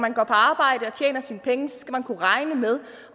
man går på arbejde og tjener sine penge skal kunne regne med